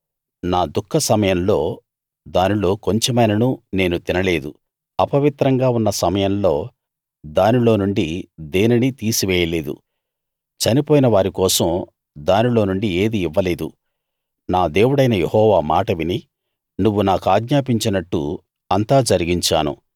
నా దుఃఖ సమయంలో దానిలో కొంచెమైనా నేను తినలేదు అపవిత్రంగా ఉన్న సమయంలో దానిలో నుండి దేనినీ తీసివేయలేదు చనిపోయిన వారి కోసం దానిలో నుండి ఏదీ ఇవ్వలేదు నా దేవుడైన యెహోవా మాట విని నువ్వు నా కాజ్ఞాపించినట్టు అంతా జరిగించాను